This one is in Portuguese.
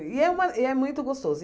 E é uma e é muito gostoso.